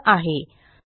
वर उपलब्ध आहे